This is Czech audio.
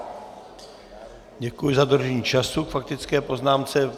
Děkuji za dodržení času k faktické poznámce.